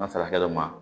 N'a sera kɛ dɔ ma